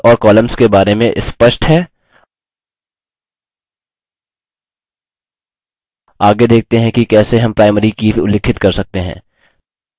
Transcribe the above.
अब हमें tables और columns के बारे में स्पष्ट है आगे देखते हैं कि कैसे हम primary कीज़ उल्लिखित कर सकते हैं